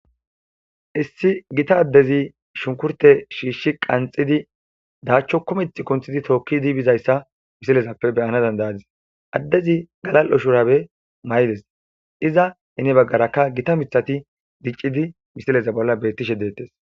issi gita addezi shunkurte shiishshi qanxidi daachcho kumeth kunthidi tookkidi bizayssa misilezappe beyana dandayadis addezi galal7o shurabe may7des iza heni baggarakka gita mithati diccidi misileza bolla bettishe deettes